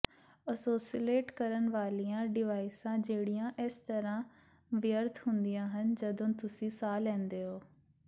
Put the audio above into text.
ਓਸੋਸਿਲੇਟ ਕਰਨ ਵਾਲੀਆਂ ਡਿਵਾਈਸਾਂ ਜਿਹੜੀਆਂ ਇਸ ਤਰ੍ਹਾਂ ਵਿਅਰਥ ਹੁੰਦੀਆਂ ਹਨ ਜਦੋਂ ਤੁਸੀਂ ਸਾਹ ਲੈਂਦੇ ਹੋ